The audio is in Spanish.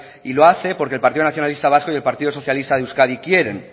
y lo hace porque el partido nacionalista vasco y el partido socialista de euskadi quieren